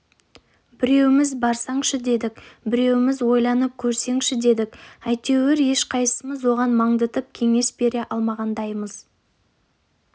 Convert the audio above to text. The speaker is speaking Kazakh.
біреуіміз барсаңшы дедік біреуіміз ойланып көрсеңші дедік әйтеуір ешқайсысымыз оған маңдытып кеңес бере алмағандаймыз